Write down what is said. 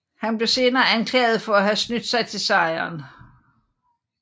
Han blev senere anklaget for at have snydt sig til sejren